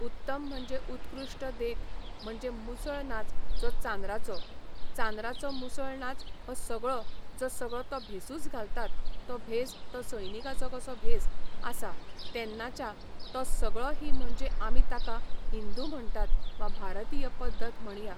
उत्तम म्हणजे उत्कृश्ट देख म्हणजे मुसळ नाच जो चांद्राचो. चांद्राचो मुसळ नाच हो सगळो जो सगळो तो भेसूच घालतात तो भेस तो सैनीकाचो कसो भेस आसा तेन्नाच्या तो सगळो ही म्हणजे आमी ताका हिंदू म्हणटात वा भारतीय पद्दत म्हणया